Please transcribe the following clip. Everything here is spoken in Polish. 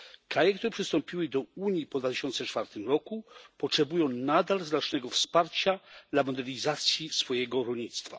Kraje, które przystąpiły do Unii po 2004 roku potrzebują nadal znacznego wsparcia dla modernizacji swojego rolnictwa.